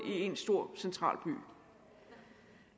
i én stor central by